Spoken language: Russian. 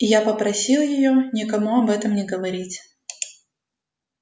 и я попросил её никому об этом не говорить